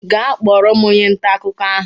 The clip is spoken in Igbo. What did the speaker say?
Gaa kpọrọ m onye nta akụkọ ahụ!